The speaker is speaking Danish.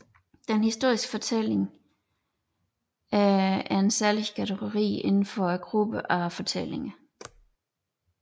Den historiske fortælling er en særlig kategori inden for gruppen af fortællinger